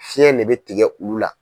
Fiɲɛ de bɛ tigɛ ulu la.